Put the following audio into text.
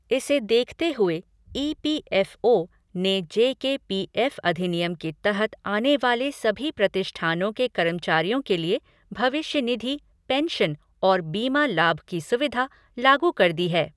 इसे देखते हुए ई पी एफ़ ओ ने जे के पी एफ़ अधिनियम के तहत आने वाले सभी प्रतिष्ठानों के कर्मचारियों के लिए भविष्य निधि, पेंशन और बीमा लाभ की सुविधा लागू कर दी है।